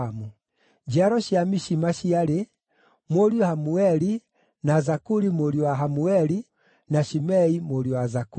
Njiaro cia Mishima ciarĩ: Mũriũ Hamueli, na Zakuri mũriũ wa Hamueli, na Shimei mũriũ wa Zakuri.